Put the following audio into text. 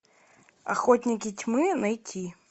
охотники тьмы найти